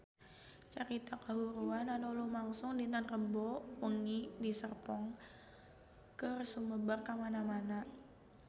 Carita kahuruan anu lumangsung dinten Rebo wengi di Serpong geus sumebar kamana-mana